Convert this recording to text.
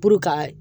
Puru ka